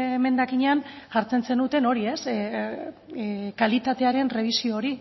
emendakinean jartzen zenuten hori kalitatearen errebisio hori